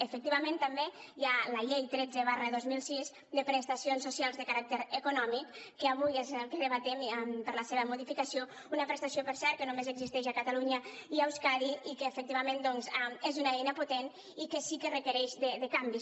efectivament també hi ha la llei tretze dos mil sis de prestacions socials de caràcter econòmic que avui és el que debatem per a la seva modificació una prestació per cert que només existeix a catalunya i a euskadi i que efectivament doncs és una eina potent i que sí que requereix canvis